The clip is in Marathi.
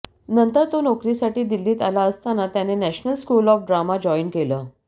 नंतर तो नोकरीसाठी दिल्लीत आला असताना त्याने national school of drama join केलं